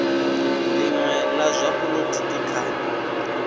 linwe la zwa polotiki kha